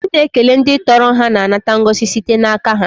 Ndị na ekele ndị tọrọ ha na anata ngọzi site n'aka ha.